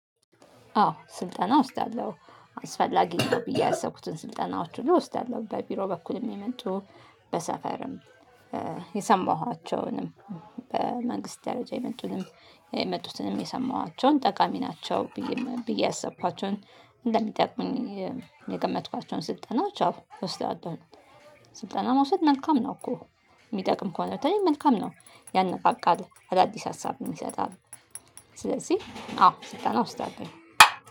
አዎ ስልጠና እወስዳለሁ። አስፈላጊ ነው ብዬ ያሰብኩትን ስልጠናዎች ሁሉ እወስዳለሁ። በቢሮ በኩል ሚመጡ በሰፈርም የሰማኋቸውንም በመንግስት ደረጃ የመጡትንም የሰማኋቸውን ጠቃሚ ናቸው ብዬ ያሰብኳቸውን እንደሚጠቅሙኝ የገመትኳቸውን ስልጠናዎች አዎ እወስዳለሁኝ። ስልጠና መውሰድ መልካም ነው እኮ። የሚጠቅም ከሆነ በተለይ መልካም ነው። ያነቃቃል፣ አዳዲስ ሀሳብ የሚሰጣል። ስለዚህ አዎ ስልጠና እወስዳለሁኝ።